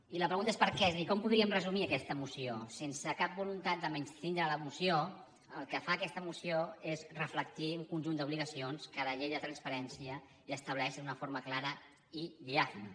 i la pregunta és per què és a dir com podríem resumir aquesta moció sense cap voluntat de menystindre la moció el que fa aquesta moció és reflectir un conjunt d’obligacions que la llei de transparència ja estableix d’una forma clara i diàfana